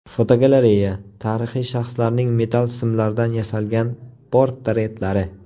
Fotogalereya: Tarixiy shaxslarning metall simlardan yasalgan portretlari.